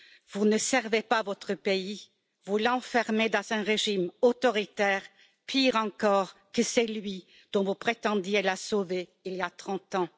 Vous ne servez pas votre pays, vous l'enfermez dans un régime autoritaire, pire encore que celui dont vous prétendiez le sauver il y a 30 ans.